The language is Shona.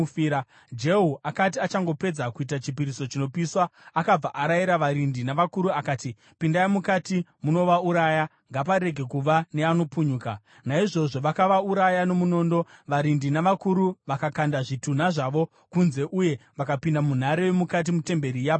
Jehu akati achangopedza kuita chipiriso chinopiswa, akabva arayira varindi navakuru akati, “Pindai mukati munovauraya; ngaparege kuva neanopunyuka.” Naizvozvo vakavauraya nomunondo. Varindi navakuru vakakanda zvitunha zvavo kunze uye vakapinda munhare yomukati metemberi yaBhaari.